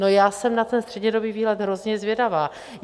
No, já jsem na ten střednědobý výhled hrozně zvědavá.